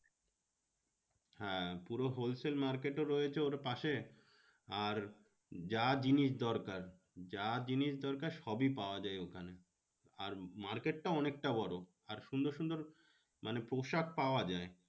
হ্যাঁ পুরো wholesale market ও রয়েছে ওর পাশে আর যা জিনিস দরকার, যা জিনিস দরকার সবই পাওয়া যায় ওখানে। আর market টা অনেকটা বড়ো। আর সুন্দর সুন্দর মানে পোশাক পাওয়া যায়।